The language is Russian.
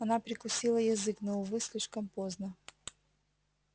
она прикусила язык но увы слишком поздно